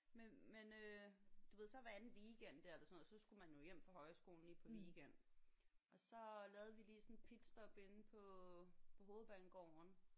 Men men øh du ved så hver anden weekend der eller sådan noget så skulle man jo hjem fra højskolen lige på weekend og så lavede vi lige sådan et pitstop inde på på hovedbanegården